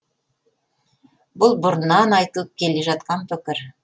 бұл бұрыннан айтылып келе жатқан пікір